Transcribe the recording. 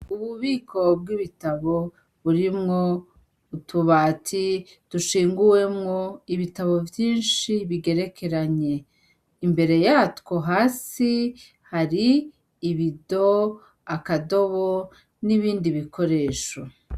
Ububiko bw'ibitabo burimwo utubati dushinguwemwo ibitabo vyinshi bigerekeranye. Imbere yatwo hasi hari ibido, akadobo n'ibindi bikoresho.